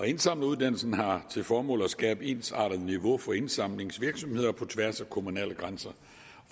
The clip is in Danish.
indsamleruddannelsen har til formål at skabe ensartet niveau for indsamlingsvirksomheder på tværs af kommunale grænser